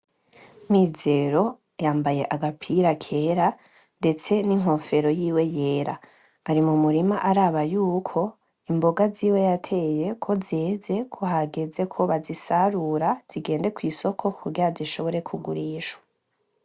MIZERO yambaye agapira kera ,ndetse n'inkofero yiwe yera. Ari mumurima araba y'uko imboga ziwe yateye ko zeze, ko hageze ko bazisarura ,zigende kw'isoko kugira zishobore kugurishwa.